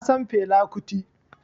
Na san Fela Kuti